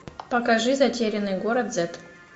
покажи затерянный город зет